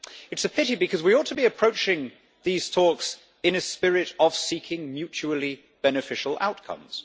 It is a pity because we ought to be approaching these talks in a spirit of seeking mutually beneficial outcomes.